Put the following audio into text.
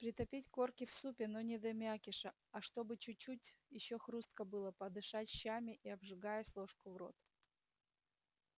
притопить корки в супе но не до мякиша а чтобы чуть-чуть ещё хрустко было подышать щами и обжигаясь ложку в рот